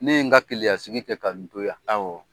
Ne ye n ka Keleya sigi kɛ ka n to ya. Awɔ.